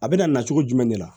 A bɛna na cogo jumɛn de la